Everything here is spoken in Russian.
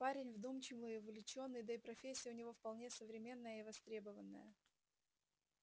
парень вдумчивый увлечённый да и профессия у него вполне современная и востребованная